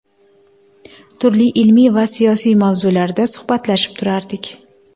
Turli ilmiy va siyosiy mavzularda suhbatlashib turardik.